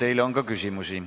Teile on ka küsimusi.